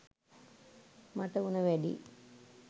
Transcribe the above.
මට උණ වැඩි